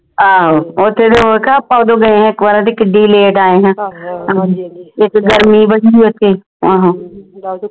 ਆਹੋ ਓਥੇ ਤੇ ਉਹ ਆਪਾਂ ਓਦੋਂ ਗਏ ਆ ਇਕ ਵਾਰ ਤੇ ਕਿੱਡੀ late ਆਏ ਹੈਂ ਇਕ ਗਰਮੀ ਬੜੀ ਓਥੇ ਆਹੋ